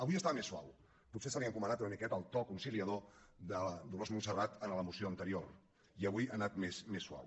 avui estava més suau potser se li ha encomanat una miqueta el to conciliador de la dolors montserrat en la moció anterior i avui ha anat més suau